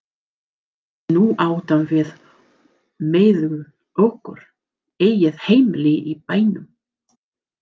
Nú áttum við mæðgur okkar eigið heimili í bænum.